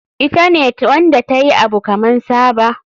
Ita ne Wanda tayi Abu kaman Saba.